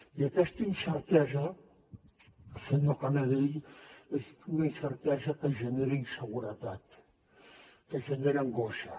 i aquesta incertesa senyor canadell és una incertesa que genera inseguretat que genera angoixa